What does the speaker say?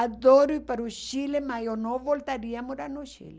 Adoro ir para o Chile, mas eu não voltaria a morar no Chile.